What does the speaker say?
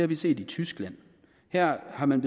vi set i tyskland her har man